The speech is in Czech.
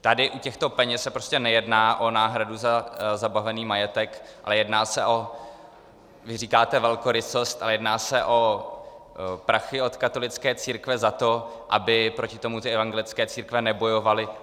Tady u těchto peněz se prostě nejedná o náhradu za zabavený majetek, ale jedná se o - vy říkáte velkorysost, ale jedná se o prachy od katolické církve za to, aby proti tomu ty evangelické církve nebojovaly.